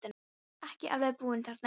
Ég var ekki alveg búinn þarna inni.